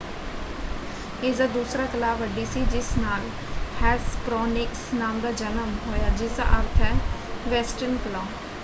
ਇਸਦਾ ਦੂਸਰਾ ਕਲਾਅ ਵੱਡੀ ਸੀ ਜਿਸ ਨਾਲ ਹੈਸਪਰੌਨਿਕਸ ਨਾਮ ਦਾ ਜਨਮ ਹੋਇਆ ਜਿਸਦਾ ਅਰਥ ਹੈ ਵੈਸਟਰਨ ਕਲਾਅ।